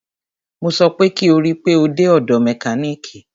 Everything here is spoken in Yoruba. Mo sọ pé kí o rí pe o dé ọ̀dọ̀ mẹkánìkì!